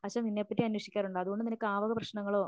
അച്ഛൻ നിന്നെപ്പറ്റി അന്വേഷിക്കാറുണ്ട് അതുകൊണ്ട് നിനക്ക് ആ വക പ്രശ്നങ്ങളോ